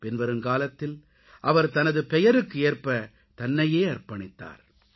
பின்வரும் காலத்தில் அவர் தனது பெயருக்கு ஏற்ப தன்னையே அர்ப்பணித்தார்